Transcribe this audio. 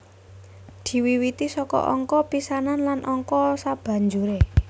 Diwiwiti saka angka pisanan lan angka sabanjuré